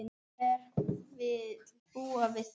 Hver vill búa við það?